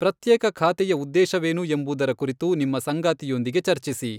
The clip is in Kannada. ಪ್ರತ್ಯೇಕ ಖಾತೆಯ ಉದ್ದೇಶವೇನು ಎಂಬುದರ ಕುರಿತು ನಿಮ್ಮ ಸಂಗಾತಿಯೊಂದಿಗೆ ಚರ್ಚಿಸಿ.